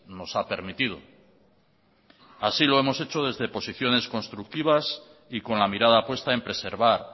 nos ha permitido así lo hemos hecho desde posiciones constructivas y con la mirada puesta en preservar